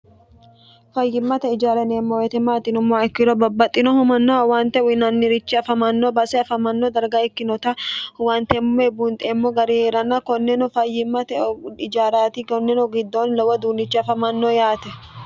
fayyimmate ijaara yneemmo woyiite maati yinummoha ikkiro babbaxxinohu manno awante uyinannirichi afamanno base afamanno darga ikkinota huwanteemmoe bunxeemmo gari hee'rana konneno fayyimmate ijaaraati konneno giddoonni lowo duunichi afamanno yaate